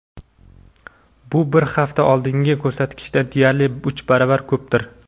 bu bir hafta oldingi ko‘rsatkichdan deyarli uch baravar ko‘pdir.